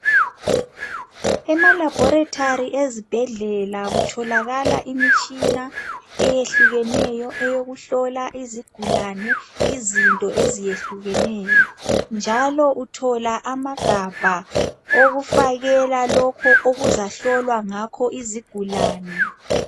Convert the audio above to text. Emalabholethali ezibhedlela kutholakala imitshina eyehlukeneyo eyokuhlola izigulane izinto ezeyehlukeneyo. Njalo uthola amagabha owokufakela lokho okuzahlolwa ngakho izigulane.